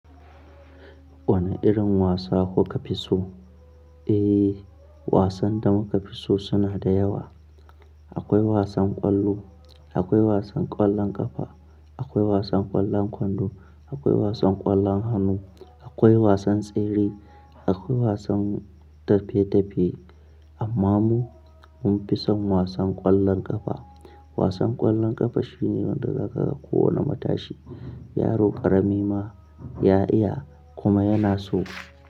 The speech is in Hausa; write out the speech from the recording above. Wane irin wasa kuka fi so? Eh, wasan da muka fi so suna da yawa. Akwai wasan ƙwallo, akwai wasan ƙwallon ƙafa, akwai wasan ƙwallon kwando, akwai wasan ƙwallon hannu, akwai wasan tsere, akwai wasan tafe-tafe. Amma mu mun fi son wasan ƙwallon ƙafa. Wasan ƙwallon ƙafa shine wanda zaka ga kowa ne matashi, yaro ƙarami ma ya iya kuma yana so.